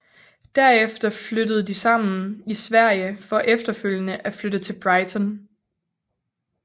Derefter flyttede de sammen i Sverige for efterfølgende at flytte til Brighton